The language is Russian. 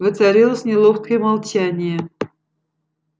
воцарилось неловкое молчание